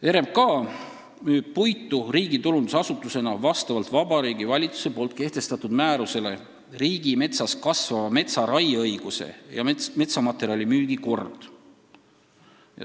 RMK müüb puitu riigitulundusasutusena vastavalt Vabariigi Valitsuse määrusele "Riigimetsas kasvava metsa raieõiguse ja metsamaterjali müügi kord".